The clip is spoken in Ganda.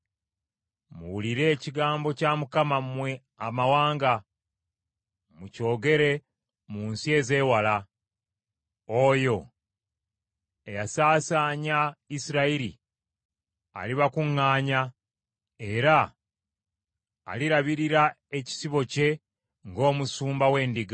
“Muwulire ekigambo kya Mukama mmwe amawanga, mukyogere mu nsi ezeewala. ‘Oyo eyasaasaanya Isirayiri alibakuŋŋaanya era alirabirira ekisibo kye ng’omusumba w’endiga.’